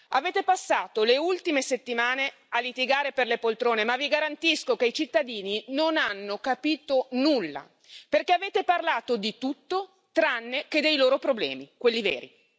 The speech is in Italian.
Avete passato le ultime settimane a litigare per le poltrone ma vi garantisco che i cittadini non hanno capito nulla, perché avete parlato di tutto tranne che dei loro problemi, quelli veri!